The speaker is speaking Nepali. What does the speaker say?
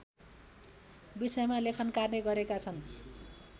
विषयमा लेखनकार्य गरेका छन्